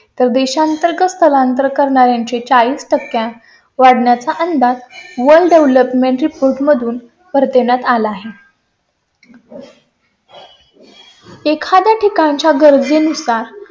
तर देशांतर्गत स्थलांतर करणार् यांचे चाळीस टक्के वाढण्या चा अंदाज world development reports world development report मधून परत देण्यात आला आहे . एखाद्या ठिकाणा च्या गरजेनुसार